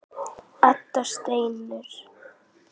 Edda stynur.